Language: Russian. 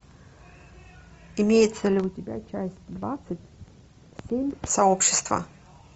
имеется ли у тебя часть двадцать семь сообщество